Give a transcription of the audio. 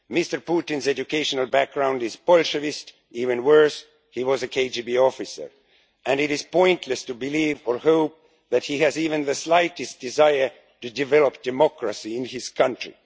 Mr Putin's educational background is Bolshevist, even worse he was a KGB officer, and it is pointless to believe or hope that he has even the slightest desire to develop democracy in his country.